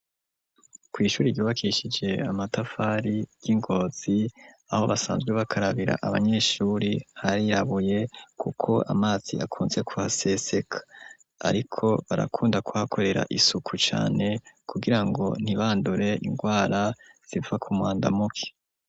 Kw"ishuri ryubakishije amatafari ryi Ngozi aho basanzwe bakarabira abanyeshuri harirabuye kuko amazi akunze kuhaseseka ariko barakunda kwakorera isuku cane kugira ngo ntibandure indwara ziva kumwandamuke.